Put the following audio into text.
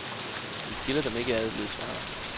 Vi skiller dem ikke ad, lød svaret.